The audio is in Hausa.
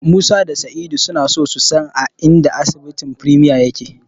Musa da Sa'idu suna so su san a inda asibitin Premier yake.